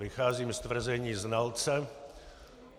Vycházím z tvrzení znalce.